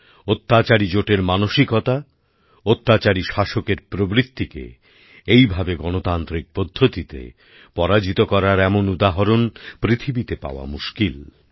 অত্যাচারী জোটের মানসিকতা অত্যাচারী শাসকের প্রবৃত্তিকে এইভাবে গণতান্ত্রিক পদ্ধতিতে পরাজিত করার এমন উদাহরণ পৃথিবীতে পাওয়া মুশকিল